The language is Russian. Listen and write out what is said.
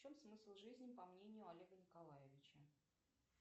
в чем смысл жизни по мнению олега николаевича